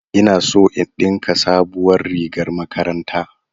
Ina so in ɗinka sabuwar rigar makaranta